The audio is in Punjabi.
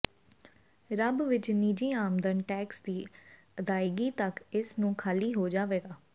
ਰੱਬ ਵਿਚ ਨਿੱਜੀ ਆਮਦਨ ਟੈਕਸ ਦੀ ਅਦਾਇਗੀ ਤੱਕ ਇਸ ਨੂੰ ਖਾਲੀ ਹੋ ਜਾਵੇਗਾ